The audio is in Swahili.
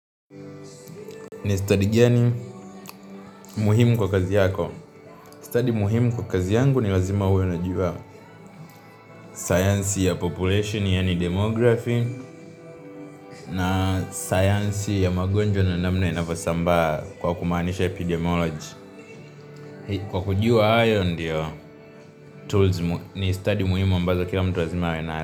Ni stadi gani muhimu kwa kazi yako. Stadi muhimu kwa kazi yangu ni lazima uwe unajua sayansi ya population yaani demography na sayansi ya magonjwa na namna inavyosambaa kwa kumaanisha epidemiology. Kwa kujua hayo ndiyo tools ni stadi muhimu ambayo kila mtu lazima uwe nayo.